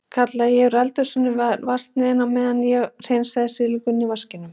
kallaði ég úr eldhúsinu yfir vatnsniðinn á meðan ég hreinsaði silunginn í vaskinum.